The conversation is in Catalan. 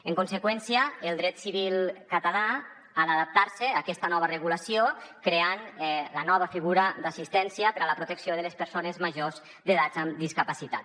en conseqüència el dret civil català ha d’adaptar se a aquesta nova regulació creant la nova figura d’assistència per a la protecció de les persones majors d’edat amb discapacitat